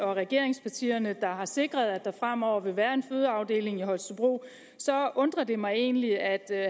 og regeringspartierne der sikrer at der fremover vil være en fødeafdeling i holstebro så undrer det mig egentlig at